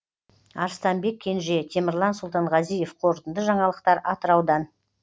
арыстанбек кенже темірлан сұлтанғазиев қорытынды жаңалықтар атыраудан